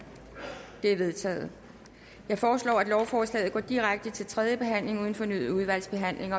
det er vedtaget jeg foreslår at lovforslaget går direkte til tredje behandling uden fornyet udvalgsbehandling